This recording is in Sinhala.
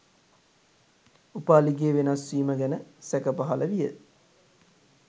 උපාලිගේ වෙනස්වීම ගැන සැක පහළ විය.